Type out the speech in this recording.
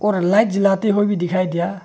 और लाइट जलाते हुए भी दिखाई दिया।